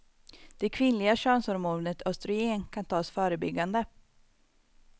Det kvinnliga könshormonet östrogen kan tas förebyggande.